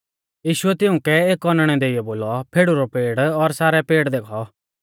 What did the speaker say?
यीशुऐ तिउंकै एक औनैणै देइयौ बोलौ फेड़ु रौ पेड़ और सारै पेड़ देखौ